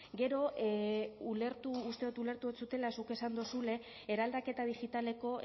gero ulertu uste dut ulertu ez dodala zuk esan duzula eraldaketa digitaleko